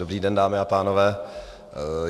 Dobrý den, dámy a pánové.